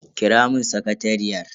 Kira mun sakatariyar.